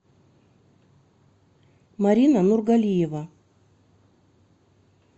марина нургалиева